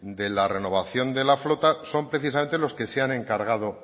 de la renovación de la flota son precisamente los que se han encargado